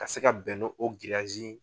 Ka se ka bɛn no o giriyasi.